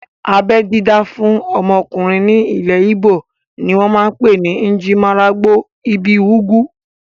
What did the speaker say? Abẹ́ dídá fún ọmọkùnrin ní ilẹ̀ íbò ni wọ́n pè ní "Njirimaralgbo ibi ugwu"